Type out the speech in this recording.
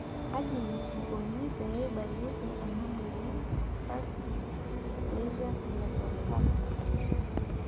kaji ikoni pee ebaki ena moyian e spastic diplegia cerebral palsy?